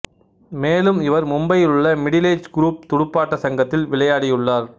மேலும் இவர் மும்பையில் உள்ள மிடில் ஏஜ் குரூப் துடுப்பாட்ட சங்கத்தில் விளையாடியுள்ளார்